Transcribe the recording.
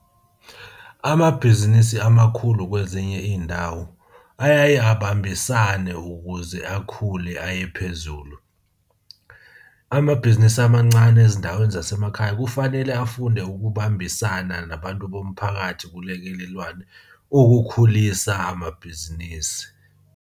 Amabhizinisi amakhulu kwezinye iy'ndawo ayaye abambisane ukuze akhule, aye phezulu. Amabhizinisi amancane ezindaweni zasemakhaya kufanele afunde ukubambisana nabantu bomphakathi kulekelelwane ukukhulisa amabhizinisi.